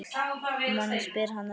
Um annað spyr hann ekki.